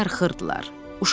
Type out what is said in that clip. Onlar darıxırdılar.